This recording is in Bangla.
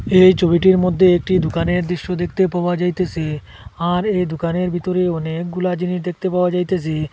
এই ছবিটির মধ্যে একটি দোকানের দৃশ্য দেখতে পাওয়া যাইতেসে আর এই দোকানের ভিতরে অনেকগুলা জিনিস দেখতে পাওয়া যাইতেসে।